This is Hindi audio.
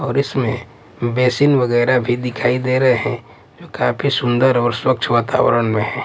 और इसमें बेसिन वगैरह भी दिखाई दे रहे हैं जो काफी सुंदर और स्वच्छ वातावरण में है।